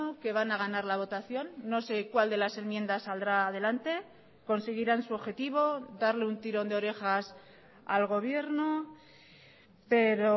que van a ganar la votación no sé cuál de las enmiendas saldrá adelante conseguirán su objetivo darle un tirón de orejas al gobierno pero